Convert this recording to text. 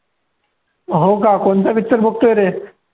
हो का? कोणता picture बघतोय रे?